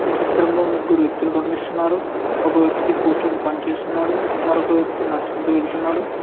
ఈ చిత్రంలో ముగ్గురు వ్యక్తులు కనిపిస్తున్నారు ఒక వ్యక్తి కూర్చొని పని చేస్తున్నాడు మరొక వ్యక్తి నడుచుకుంటూ వెళ్తున్నాడు.